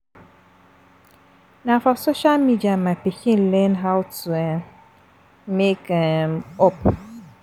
Na for social media my pikin learn how to um make um up